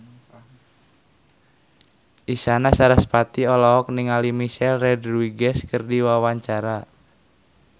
Isyana Sarasvati olohok ningali Michelle Rodriguez keur diwawancara